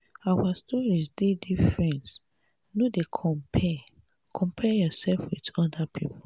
our stories dey different no dey compare compare yoursef wit oda pipo.